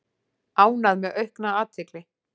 Ánægð með aukna athygli